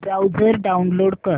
browser download कर